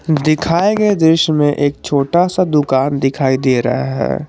दिखाए गए दृश्य में एक छोटा सा दुकान दिखाई दे रहा है।